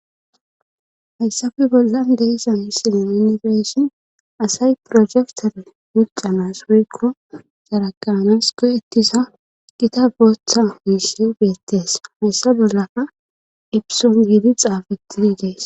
hayssafe boldan deesa misile unibeeshin asay projektore miccamas woykko saraganas ko ettisa gita booththa miishi beettees hayssa bollaka epison giidi xaafetini dees